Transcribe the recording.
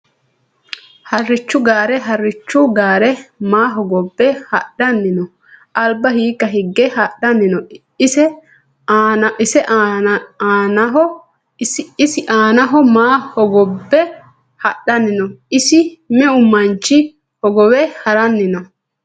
Harichu gaare harichu gaare maa hogobe hadhani no alba hiika higge hadhani no ise aanaho maa hogobe hadhani no ise meu manchi hogowe haran no.